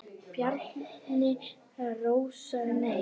Bjarni Rósar Nei.